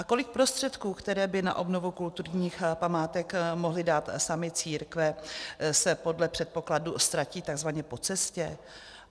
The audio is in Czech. A kolik prostředků, které by na obnovu kulturních památek mohly dát sami církve, se podle předpokladu ztratí takzvaně po cestě?